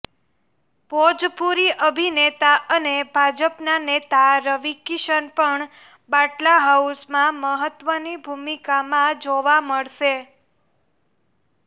ભોજપુરી અભિનેતા અને ભાજપના નેતા રવિ કિશન પણ બાટલા હાઉસમાં મહત્વની ભૂમિકામાં જોવા મળશે